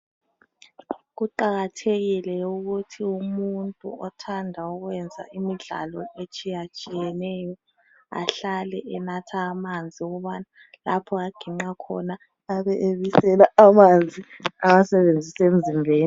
Kuqakathekile ukuthi umuntu othanda ukwenza imidlalo etshiyatshiyeneyo ahlale enatha amanzi ukubana lapho aginqa khona abe ebisela amanzi awasebenzise emzimbeni.